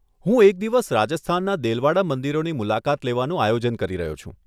હું એક દિવસ રાજસ્થાનના દેલવાડા મંદિરોની મુલાકાત લેવાનું આયોજન કરી રહ્યો છું.